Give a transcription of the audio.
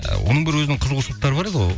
оның бір өзінің қызығушылықтары бар еді ғой